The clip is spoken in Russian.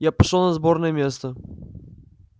я пошёл на сборное место